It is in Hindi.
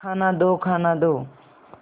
खाना दो खाना दो